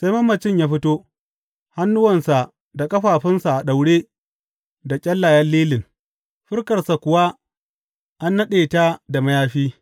Sai mamacin ya fito, hannuwansa da ƙafafunsa a daure da ƙyallayen lilin, fuskarsa kuwa an naɗe da mayafi.